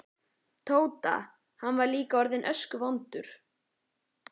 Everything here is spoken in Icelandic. Tóta, hann var líka orðinn öskuvondur.